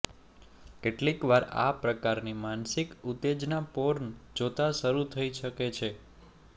કેટલીક વાર આ પ્રકારની માનસિક ઉત્તેજના પોર્ન જોતા શરુ થઇ શકે છે